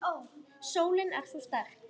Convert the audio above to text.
Sólin er svo sterk.